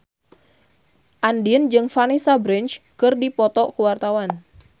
Andien jeung Vanessa Branch keur dipoto ku wartawan